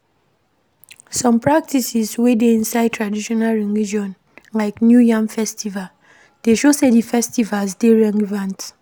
Some practices wey dey inside Traditional Religion like New Yam festival dey show sey di festivals dey relevant